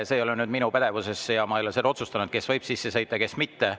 See ei ole minu pädevuses, mina ei ole seda otsustanud, kes võib sisse sõita ja kes mitte.